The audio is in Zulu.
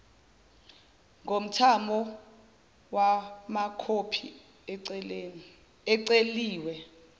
ngomthamo wamakhophi aceliwe